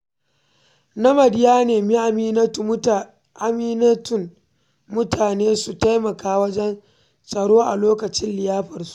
Namadi ya nemi amintattun mutane su taimaka wajen tsaro a lokacin liyafarsu.